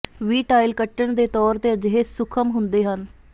ਵੀ tile ਕੱਟਣ ਦੇ ਤੌਰ ਤੇ ਅਜਿਹੇ ਸੂਖਮ ਹੁੰਦੇ ਹਨ